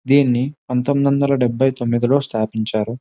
దీని పంతొమిది వందల డెబ్భైతొమిది లో స్థాపించారు.